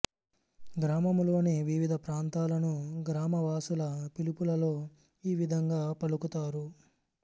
గ్రామములోని వివిధ ప్రాంతాలను గ్రామవాసుల పిలుపులలో ఈ విదంగా పలుకుతారు